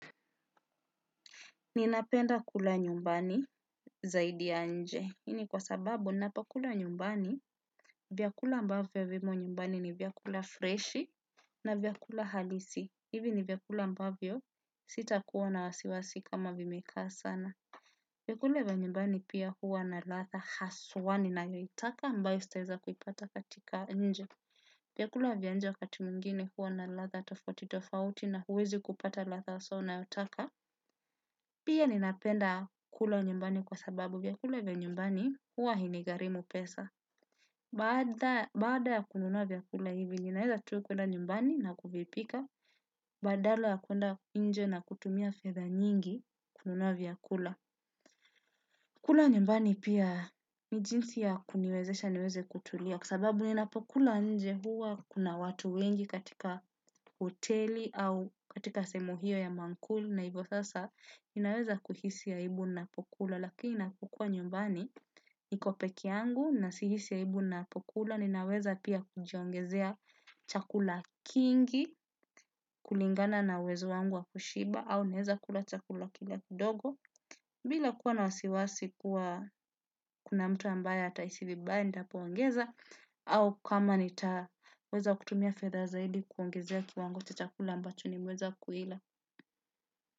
Ninapenda kula nyumbani zaidi ya nje, hii ni kwa sababu ninapokula nyumbani, vyakula ambavyo vimo nyumbani ni vyakula freshi na vyakula halisi, hivi ni vyakula ambavyo sitakuwa na wasiwasi kama vimekaa sana. Vyakula vya nyumbani pia huwa na ladha haswa ninayoyitaka ambayo sitaweza kuipata katika nje. Vyakula vya nje wakati mwingine huwa na ladha tofauti tofauti na huwezi kupata ladha haswa unayotaka. Pia ninapenda kula nyumbani kwa sababu vyakula vya nyumbani huwa hainigarimu pesa. Baada ya kununua vyakula hivi ninaweza tu kwenda nyumbani na kuvipika. Badala ya kuenda nje na kutumia fedha nyingi kununua vyakula. Kula nyumbani pia ni jinsi ya kuniwezesha niweze kutulia. Kwa sababu ninapokula nje huwa kuna watu wengi katika hoteli au katika sehe hio ya maankuli. Na hivyo sasa ninaweza kuhisi ya aibu ninapokula lakini ninapokua nyumbani niko peke yangu na sihisi aibu ninapokula ninaweza pia kujiongezea chakula kingi kulingana na uwezo wangu wa kushiba au ninaweza kula chakula kidogo bila kuwa na wasiwasi kuwa kuna mtu ambaye atahisi vibaya ninapo ongeza au kama nitaweza kutumia fedha zaidi kuongezea kiwango cha chakula ambacho nimeweza kuila.